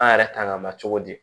An yɛrɛ kan ka ma cogo di